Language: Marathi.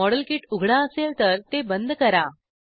मॉडेल किट उघडा असेल तर ते बंद करा